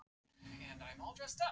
Og var ekki hægt að ljúka því í tíma?